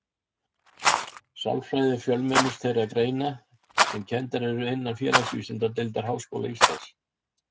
Sálfræði er fjölmennust þeirra greina sem kenndar eru innan Félagsvísindadeildar Háskóla Íslands.